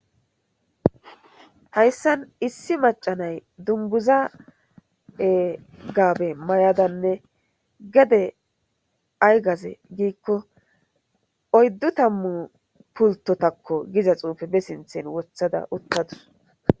hayssan issi macanay dunguza gaabe mayadanne gede ay gaze giikko oyddu tammu pultotakko giza xuufe be sinthen wothada uttadus